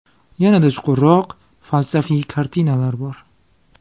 Yanada chuqurroq, falsafiy kartinalar bor.